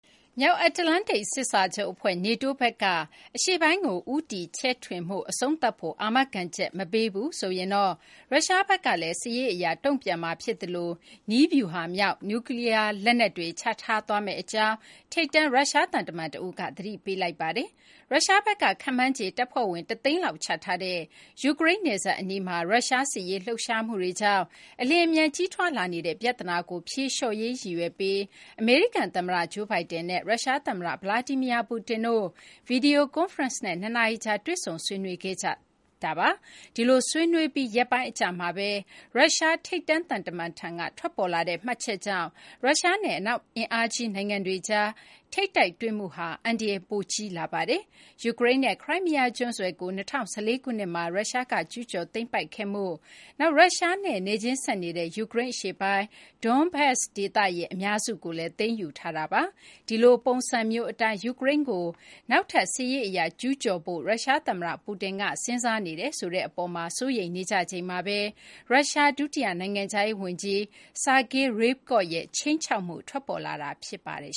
မြောက်အတ္တလန္တိတ် စစ်စာချုပ် အဖွဲ့ NATO ဘက်က အရှေ့ပိုင်းကို ဦးတည် ချဲ့ထွင်မှု အဆုံးသတ်ဖို့ အာမခံချက် မပေးဘူးဆိုရင်တော့ ရုရှားဘက်ကလည်း စစ်ရေး အရ တုံ့ပြန်မှာ ဖြစ်သလို နည်းဗျူဟာမြောက် နျူးကလီးယား လက်နက်တွေ ချထားသွားမယ့် အကြောင်း ထိပ်တန်း ရုရှား သံတမန် တဦးက သတိပေးလိုက်ပါတယ်။ ရုရှားဘက်က ခန့်မှန်းခြေ တပ်ဖွဲ့ဝင် ၁၀၀,၀၀၀ လောက် ချထားတဲ့ ယူကရိန်း နယ်စပ်အနီးမှာ ရုရှား စစ်ရေး လှုပ်ရှားမှုတွေကြောင့် အလျင်အမြန် ကြီးထွားလာနေတဲ့ ပြသနာကို ဖြေလျှော့ရေး ရည်ရွယ်ပြီး အမေရိကန် သမ္မတ Joe Biden နဲ့ ရုရှား သမ္မတ Vladimir Putin တို့ ဗွီဒီယို ကွန်ဖရင့်စ်နဲ့ ၂ နာရီကြာ တွေ့ဆုံ ဆွေးနွေးခဲ့ကြတာပါ။ ဒီလို ဆွေးနွေးပြီး ရက်ပိုင်း အကြာမှာ ရုရှား ထိပ်တန်း သံတမန်ထံက ထွက်ပေါ်လာတဲ့ မှတ်ချက်ကြောင့် ရုရှားနဲ့ အနောက် အင်အားကြီး နိုင်ငံတွေကြား ထိပ်တိုက်တွေ့မှုမှာ အန္တရာယ် ပိုကြီးလာပါတယ်။ ယူကရိန်းရဲ့ ခရိုင်းမီးယား ကျွန်းဆွယ်ကို ၂၀၁၄ ခုနှစ်မှာ ရုရှားက ကျူးကျော် သိမ်းပိုက်ခဲ့မှု၊ နောက် ရုရှားနဲ့ နယ်ချင်းဆက်နေတဲ့ ယူကရိန်း အရှေ့ပိုင်း Donbas ဒေသရဲ့ အများစုကို သိမ်းယူခဲ့တာပါ။ ဒီလို ပုံစံမျိုး အတိုင်း ယူကရိန်းကို နောက်ထပ် စစ်ရေး အရ ကျူးကျော်ဖို့ ရုရှားသမ္မတ Putin က စဉ်းစားနေတယ်ဆိုတဲ့ အပေါ်မှာ စိုးရိမ်နေကြချိန်မှာဘဲ ရုရှား ဒုတိယ နိုင်ငံခြားရေး ဝန်ကြီး Sergei Ryabkov ရဲ့ ခြိမ်းခြောက်မှု ထွက်ပေါ်လာတာ ဖြစ်ပါတယ်